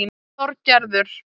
Þorgerður